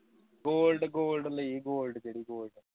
goldgold ਲਈ gold ਜਿਹੜੀ gold